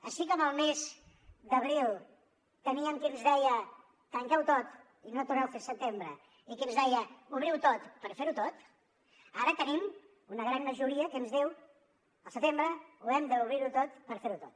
així com al mes d’abril teníem qui ens deia tanqueuho tot i no torneu fins setembre i qui ens deia obriuho tot per ferho tot ara tenim una gran majoria que ens diu al setembre hem d’obrirho tot per ferho tot